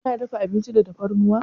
Kina dafa abinci da tafarnuwa?